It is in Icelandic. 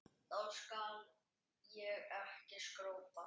Þá skal ég ekki skrópa.